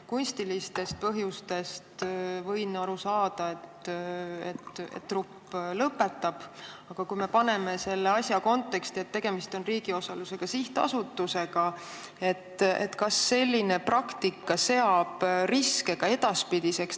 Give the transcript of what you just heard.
Kunstilistest põhjustest võin ma aru saada, kui trupp lõpetab, aga kui me paneme selle asja konteksti, tegemist on riigi osalusega sihtasutusega, siis kas selline praktika tekitab riske ka edaspidiseks?